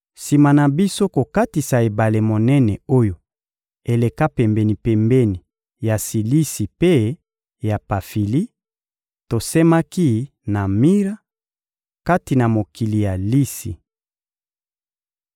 Sima na biso kokatisa ebale monene oyo eleka pembeni-pembeni ya Silisi mpe ya Pafili, tosemaki na Mira, kati na mokili ya Lisi.